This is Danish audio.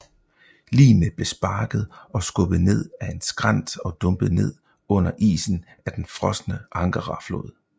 Ligene blev sparket og skubbet nede ad en skrænt og dumpet ned under isen af den frosne Angara flod